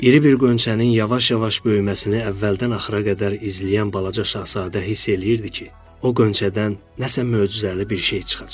İri bir qönçənin yavaş-yavaş böyüməsini əvvəldən axıra qədər izləyən balaca şahzadə hiss eləyirdi ki, o qönçədən nəsə möcüzəli bir şey çıxacaq.